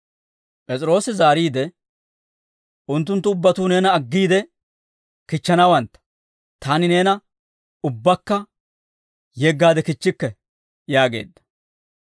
P'es'iroosi zaariide, «Unttunttu ubbatuu neena aggiide kichchanawantta; taani neena ubbakka yeggaade kichchikke» yaageedda.